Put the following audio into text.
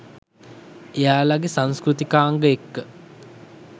එයාලගෙ සංස්කෘතිකාංග එක්ක